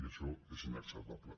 i això és inacceptable